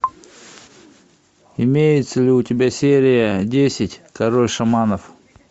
имеется ли у тебя серия десять король шаманов